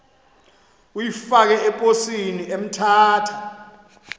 uyifake eposini emthatha